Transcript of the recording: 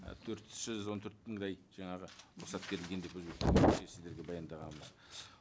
ы төрт жүз он төрт мыңдай жаңағы рұқсат берілген деп сіздерге баяндағанбыз